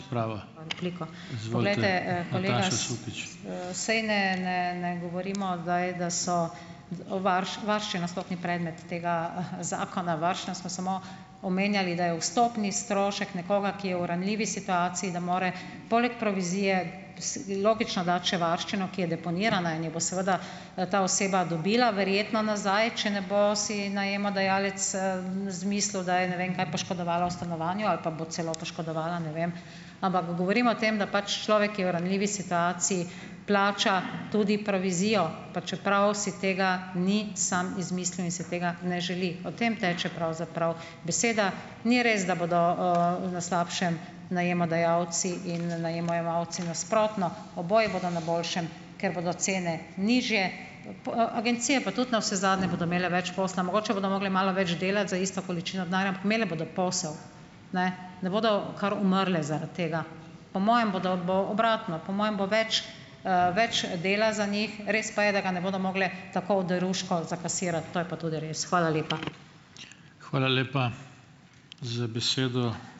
... pravo. . saj ne, ne, ne govorimo zdaj, da so o varščina sploh ni predmet tega, zakona, varščino smo samo omenjali, da je vstopni strošek nekoga, ki je v ranljivi situaciji, da more poleg provizije logično dati še varščino, ki je deponirana in jo bo seveda ta oseba dobila verjetno nazaj, če ne bo si najemodajalec, izmislili, da je ne vem kaj poškodovala v stanovanju ali pa bo celo poškodovala, ne vem. Ampak govorim o tem, da pač človek je v ranljivi situaciji, plača tudi provizijo, pa čeprav si tega ni sam izmislil in si tega ne želi. O tem teče pravzaprav beseda. Ni res, da bodo, na slabšem najemodajalci in najemojemalci. Nasprotno, oboji bodo na boljšem, ker bodo cene nižje, agencije pa tudi navsezadnje bodo imele več posla. Mogoče bodo mogli malo več delati za isto količino denarja, ampak imele bodo posel. Ne. Ne bodo kar umrle zaradi tega. Po mojem bodo, bo obratno. Po moje bo več, več dela za njih, res pa je, da ga ne bodo mogli tako oderuško zakasirati, to je pa tudi res. Hvala lepa. Hvala lepa za besedo.